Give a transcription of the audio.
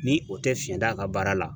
Ni o tɛ fiɲɛ da a ka baara la